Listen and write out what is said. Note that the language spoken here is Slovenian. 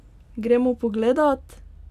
Gremo pogledat?